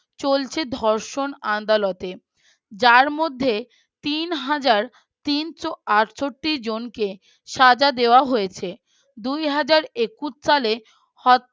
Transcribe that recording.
চলছে ধর্ষণ আদালতে, যার মধ্যে তিন হাজার তিনশ আটষট্টি জনকে সাজা দেওয়া হয়েছে দুই হাজার একুশ সালে